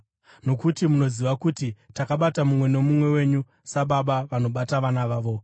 Nokuti munoziva kuti takabata mumwe nomumwe wenyu sababa vanobata vana vavo,